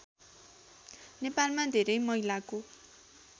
नेपालमा धेरै महिलाको